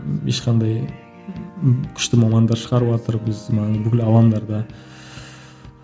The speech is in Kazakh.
ешқандай күшті мамандар шығарыватыр біз мына бүкіл алаңдарда